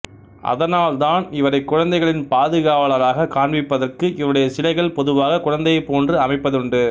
அதானால் தான் இவரை குழந்தைகளின் பாதுகாவலாராக காண்பிப்பதற்காக இவருடைய சிலைகள் பொதுவாக குழந்தையைப் போன்று அமைப்பதுண்டு